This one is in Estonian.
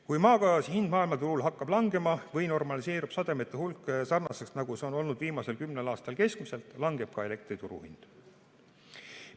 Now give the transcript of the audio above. Kui maagaasi hind maailmaturul hakkab langema või normaliseerub sademete hulk selliselt, nagu see on olnud viimasel kümnel aastal keskmiselt, langeb ka elektri turuhind.